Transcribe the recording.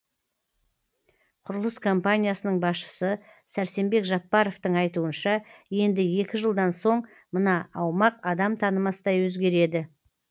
құрылыс компаниясының басшысы сәрсенбек жаппаровтың айтуынша енді екі жылдан соң мына аумақ адам танымастай өзгереді